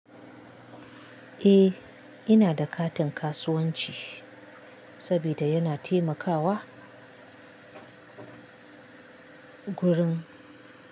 Eh, ina da katin kasuwanci saboda yana taimakawa gurin.